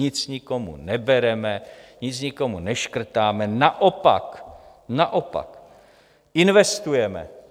Nic nikomu nebereme, nic nikomu neškrtáme, naopak, naopak investujeme.